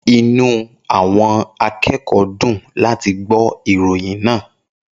Inú àwọn akẹ́kọ̀ọ́ dùn láti gbọ́ ìròyìn náà.